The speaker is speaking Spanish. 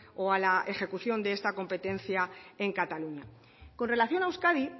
o a la ejecución de esta competencia en cataluña con relación a euskadi